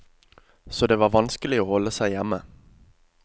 Så det var vanskelig å holde seg hjemme.